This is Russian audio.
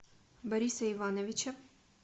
бориса ивановича